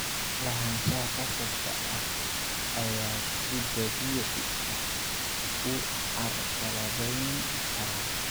"Lahaanshaha khasabka ah ayaa si dabiici ah u carqaladayn kara.